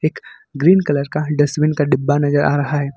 एक green colour का dustbin का डिब्बा नजर आ रहा है।